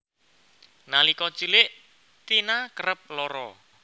Nalika cilik Tina kerep lara